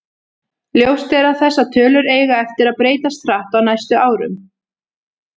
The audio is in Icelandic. Ljóst er að þessar tölur eiga eftir að breytast hratt á næstu árum.